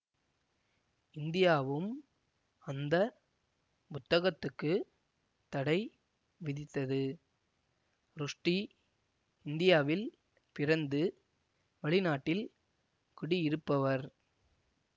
இந்தியாவும் அந்த புத்தகத்துக்குத் தடை விதித்தது ருஷ்டி இந்தியாவில் பிறந்து வெளிநாட்டில் குடியிருப்பவர்